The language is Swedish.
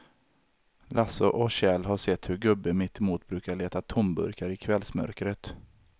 Lasse och Kjell har sett hur gubben mittemot brukar leta tomburkar i kvällsmörkret.